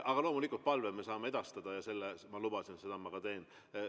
Aga loomulikult, palve me saame edastada ja ma lubasin, et ma seda ka teen.